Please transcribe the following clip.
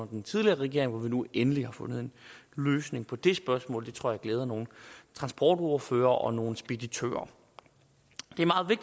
den tidligere regering hvor vi nu endelig har fundet en løsning på det spørgsmål det tror jeg glæder nogle transportordførere og nogle speditører